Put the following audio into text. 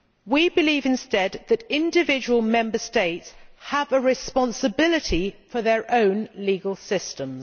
We believe instead that individual Member States have a responsibility for their own legal systems.